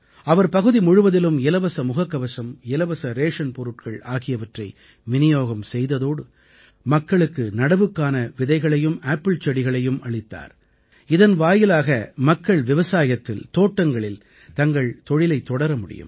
அவர் பகுதி முழுவதிலும் இலவச முகக்கவசம் இலவச ரேஷன் பொருட்கள் ஆகியவற்றை விநியோகம் செய்ததோடு மக்களுக்கு நடவுக்கான விதைகளையும் ஆப்பிள் செடிகளையும் அளித்தார் இதன் வாயிலாக மக்கள் விவசாயத்தில் தோட்டங்களில் தங்கள் தொழிலைத் தொடர முடியும்